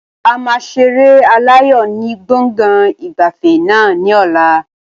A máa ṣeré aláyò ni gbọ̀ngàn ìgbafẹ́ náà ni ọ̀la